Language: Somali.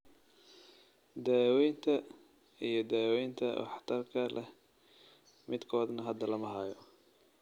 Daawaynta iyo daawaynta waxtarka leh midkoodna hadda lama hayo.